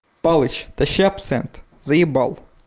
палыч тащи абсент заебал